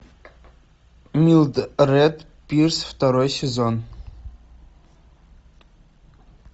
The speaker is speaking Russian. милдред пирс второй сезон